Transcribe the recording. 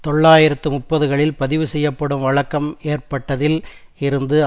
தொள்ளாயிரத்து முப்பதுகளில் பதிவு செய்யப்படும் வழக்கம் ஏற்பட்டதில் இருந்து